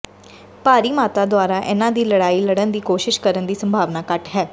ਭਾਰੀ ਮਾਤਰਾ ਦੁਆਰਾ ਇਹਨਾਂ ਦੀ ਲੜਾਈ ਲੜਨ ਦੀ ਕੋਸ਼ਿਸ਼ ਕਰਨ ਦੀ ਸੰਭਾਵਨਾ ਘੱਟ ਹੈ